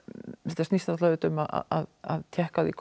þetta snýst náttúrulega um að tékka á því